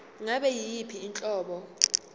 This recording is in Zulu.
ngabe yiyiphi inhlobo